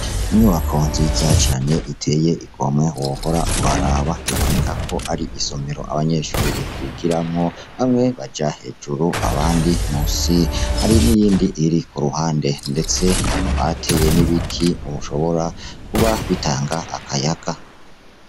Inyubako nziza cane iteye igomwe wohora uraraba biboneka ko ari isomero abanyeshure bigiramwo ,bamwe baja hejuru abandi munsi, hari n'iyindi iri kuruhande. Ndetse barateye n'ibiti bishobora kuba bitanga akayaga.